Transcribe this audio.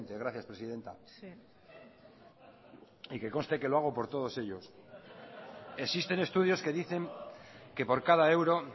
gracias presidenta y que conste que lo hago por todos ellos existen estudios que dicen que por cada euro